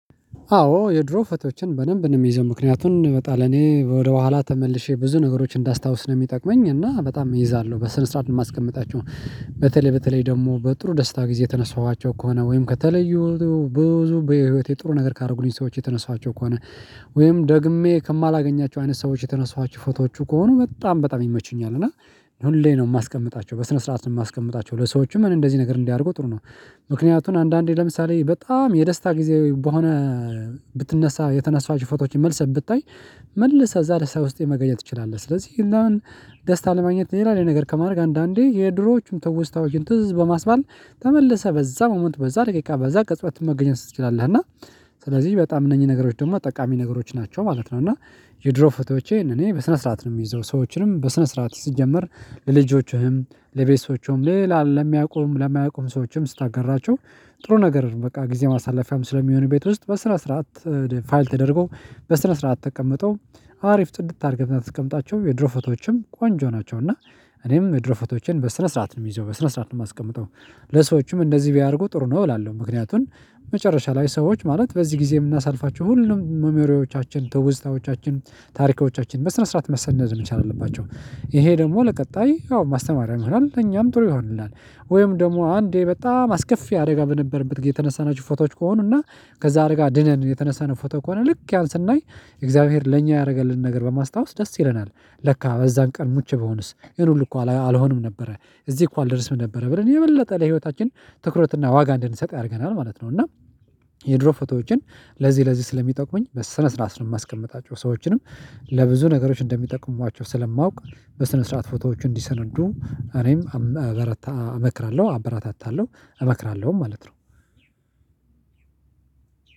አዎ የድሮ ፎቶችን በደንብ ነው የምይዘው ምክንያቱን በጣም ለኔ ወደኋላ ተመልሼ ብዙ ነገሮች እንዳስታውስ ነው የሚጠቅመኝ እና በጣም እይዛለሁ በስነ ስርዓት ነው የማስቀምጣቸው። በተለይ በተለይ ደግሞ በጥሩ ደስታ ጊዜ የተነሳኋቸው ከሆነ ወይም ከተለዩ ብዙ በህይወቴ ጥሩ ነገር ካደረጉኝ ሰዎች የተነሷቸው ከሆነ ወይም ደግሜ ከማላገኛቸው አይነት ሰዎች የተነሳችሁ ፎቶዎቹ ከሆኑ በጣም በጣም ይመቹኛል። እና ሁሌ ነው የማስቀምጣቸው በስነ ስርዓት ነው የማስቀምጣቸው ለሰዎችም እንደዚህ ነገር እንዲያደርጉ ጥሩ ነው። ምክንያቱን አንዳንዴ ለምሳሌ በጣም የደስታ ጊዜ በሆነ ብትነሳ የተነሳኀቸው ፎቶዎችን መልሰህ ብታይ መልሰህ እዛ ደስታ ውስጥ መገኘት ትችላለህ። ስለዚህ እና ደስታ ለማግኘት ሌላ ሌላ ነገር ከማድረግ አንዳንዴ የድሮዎቹም ትውስታዎችን ትዝ በማስባል ተመልሰህ በዛ ሞመንት በዛ ደቂቃ በዛ ቅጽበት መገኘት ትችላለህ። እና ስለዚህ በጣም እነኚህ ነገሮች ደግሞ ጠቃሚ ነገሮች ናቸው ማለት ነው። እና የድሮ ፎቶዎቼን እኔ በስነ ስርዓት ነው የምይዘው ሰዎችንም በስነ ስርዓት ሲጀመር። ለልጆችህም ለቤተሰቦችህም ሌላ ለሚያውቁም ለማያውቁም ሰዎችም ስታገራቸው ጥሩ ነገር በቃ ጊዜ ማሳለፊያም ስለሚሆን ቤት ውስጥ በስነ ስርዓት ፋይል ተደርጎ በስነ ስርዓት ተቀምጠው አሪፍ ጽድት አድርገህ ብታስቀምጣቸው የድሮ ፎቶዎችም ቆንጆ ናቸው። እና እኔም የድሮ ፎቶዎቼን በስነ ስርዓት ነው የምይዘው በስነ ስርዓት ነው የማስቀምጠው። ለሰዎችም እንደዚህ ቢያደርጉ ጥሩ ነው እላለሁ። ምክንያቱን መጨረሻ ላይ ሰዎች ማለት በዚህ ጊዜ የምናሳልፋቸው ሁሉም ሚሞሪዎቻችን ትውስታዎቻችን ታሪኮቻችን በስነ ስርዓት መሰነድ መቻል አለባቸው ይሄ ደግሞ ለቀጣይ ያው ማስተማሪያ ይሆናል ለእኛም ጥሩ ይሆንልናል። ወይም ደግሞ አንዴ በጣም አስከፊ አደጋ በነበረበት ጊዜ የተነሳናችሁ ፎቶዎች ከሆኑና ከዛ አደጋ ድነን የተነሳነው ፎቶ ከሆነ ልክ ያን ስናይ እግዚአብሔር ለኛ ያደረገልን ነገር በማስታወስ ደስ ይለናል። ለካ በዛን ቀን ሙቼ ብሆንስ ይሄን ሁሉ እኮ አልሆንም ነበረ እዚህ እኮ አልደርስም ነበረ ብለን የበለጠ ለህይወታችን ትኩረትና ዋጋ እንድንሰጥ ያደርገናል ማለት ነው። እና የድሮ ፎቶዎችን ለዚህ ለዚህ ስለሚጠቁመኝ በስነ ስርዓት ነው የማስቀምጣቸው። ሰዎችንም ለብዙ ነገሮች እንደሚጠቅሟቸው ስለማውቅ በስነ ስርዓት ፎቶዎች እንዲሰንዱ እኔም እበረታ እመክራለሁ አበራታታለሁ እመክራለሁ ማለት ነው።